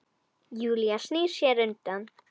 Júlía snýr sér undan.